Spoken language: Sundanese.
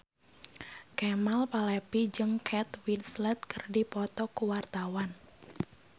Kemal Palevi jeung Kate Winslet keur dipoto ku wartawan